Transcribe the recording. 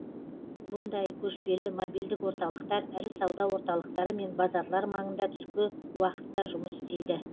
бұндай көшпелі мобильдік орталықтар ірі сауда орталықтары мен базарлар маңында түскі уақытта жұмыс істейді